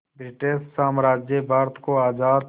British साम्राज्य भारत को आज़ाद